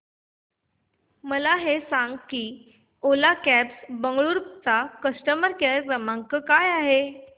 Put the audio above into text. मला हे सांग की ओला कॅब्स बंगळुरू चा कस्टमर केअर क्रमांक काय आहे